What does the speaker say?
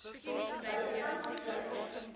bystand sluit